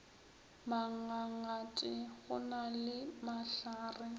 mangangate go na le mahlare